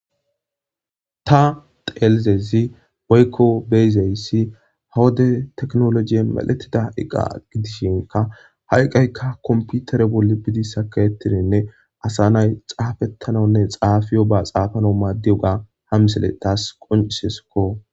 Ha7i wode tekinolojey ehida compitereko.